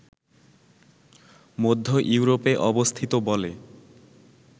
মধ্য ইউরোপে অবস্থিত বলে